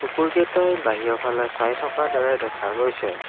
কুকুৰকেইটাই বাহিয় ফালে চাই থকা দৰে দেখা গৈছে।